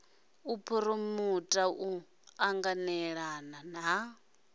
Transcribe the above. u phuromota u ṱanganelana ha